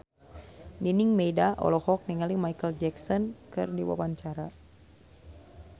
Nining Meida olohok ningali Micheal Jackson keur diwawancara